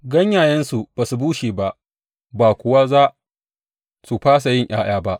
Ganyayensu ba su bushe ba, ba kuwa za su fasa yin ’ya’ya ba.